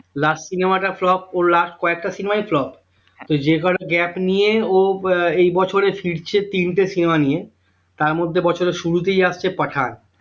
Last cinema টা flop ওর last কয়েকটা cinema ই flop তো যে কটা gap নিয়ে ও আহ এই বছরে ফিরছে তিনটে cinema নিয়ে তার মধ্যে বছরের শুরুতেই আসছে পাঠান